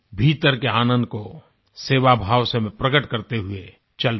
भीतर के आनंद को सेवा भाव से प्रकट करते हुए चल पड़ें